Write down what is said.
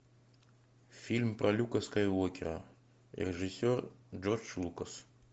фильм про люка скайуокера режиссер джордж лукас